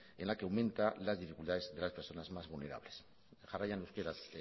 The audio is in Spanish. en la que aumenta las dificultades de las personas más vulnerables jarraian euskaraz